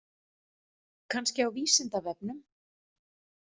Kannski á Vísindavefnum?